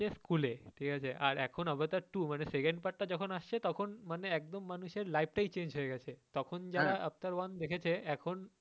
School এ আর এখন Avatar two মানে second part টা যখন আসছে তখন মানে একদম মানুষের life টাই change হয়ে গেছে তখন যারা Avatar one দেখেছে এখন,